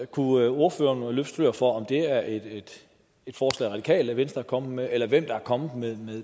kunne ordføreren løfte sløret for om det er et forslag radikale venstre er kommet med eller hvem der er kommet